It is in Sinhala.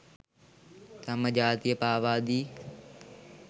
තම ජාතිය පාවාදී